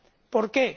¿Por qué?